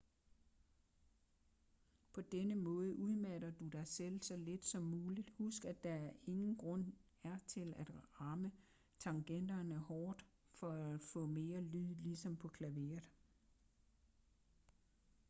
på denne måde udmatter du dig selv så lidt som muligt husk at der ingen grund er til at ramme tangenterne hårdt for at få mere lyd ligesom på klaveret